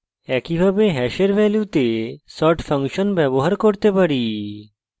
একইভাবে hash ভ্যালুতে sort function ব্যবহার করতে পারি